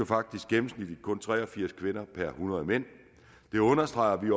faktisk gennemsnitligt kun tre og firs kvinder per hundrede mænd det understreger at vi